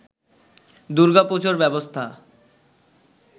দূর্গাপুজোর ব্যবস্থা